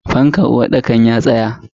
Fankan uwarɗakar ya tsaya.